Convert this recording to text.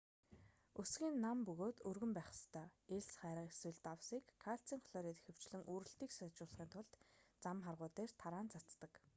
өсгий нь нам бөгөөд өргөн байх ёстой. элс хайрга эсвэл давсыг кальцийн хлорид ихэвчлэн үрэлтийг сайжруулахын тулд зам харгуй дээр тараан цацдаг